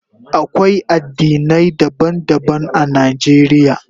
Akwai addinai daban-daban a Najeriya.